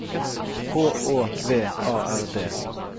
H Å V A R D